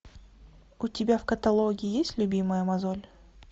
у тебя в каталоге есть любимая мозоль